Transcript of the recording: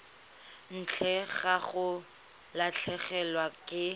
ntle ga go latlhegelwa ke